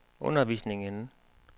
undervisningen